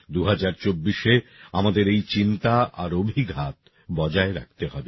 ২০২৪এ আমাদের এই চিন্তা আর অভিঘাত বজায় রাখতে হবে